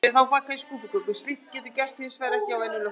Slíkt gerist hins vegar ekki hjá venjulegu fólki.